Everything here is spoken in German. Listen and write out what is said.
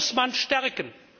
Die muss man stärken.